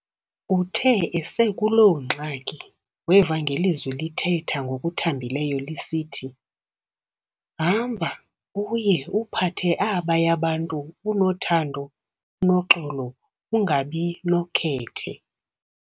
Uthe esekuloo ngxaki weva ngelizwi lithetha ngokuthambileyo lisithi, "Hamba uye uphathe abaya bantu unothando, unoxolo, ungabi nokhethe."